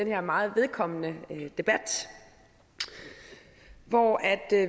her meget vedkommende debat hvor